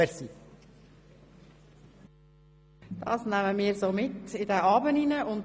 Wir nehmen dieses Zitat mit in diesen Abend.